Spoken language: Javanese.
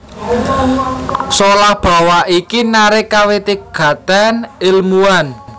Solah bawa iki narik kawigatèn èlmuwan